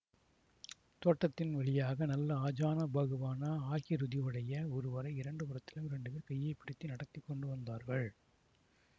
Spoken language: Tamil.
தோட்டத்தின் வழியாக நல்ல ஆஜானுபாகுவான ஆகிருதி உடைய ஒருவரை இரண்டு புறத்திலும் இரண்டு பேர் கையை பிடித்து நடத்தி கொண்டு வந்தார்கள்